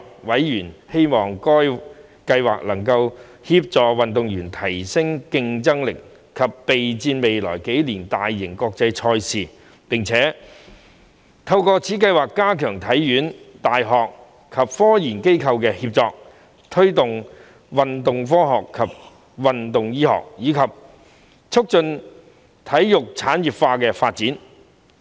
委員希望該計劃能協助運動員提升競爭力及備戰未來幾年的大型國際賽事，並希望透過該計劃加強香港體育學院、大學及科研機構的協作，推動運動科學及運動醫學，以及促進體育產業化的發展。